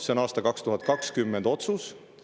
See oli aasta 2020 otsus.